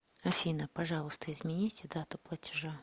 афина пожалуйста измените дату платежа